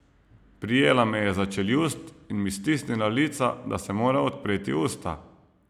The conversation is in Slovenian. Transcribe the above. Prijela me je za čeljust in mi stisnila lica, da sem moral odpreti usta.